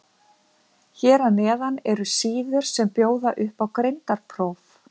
Hér að neðan eru síður sem bjóða upp á greindarpróf.